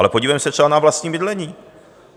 Ale podívejme se třeba na vlastní bydlení.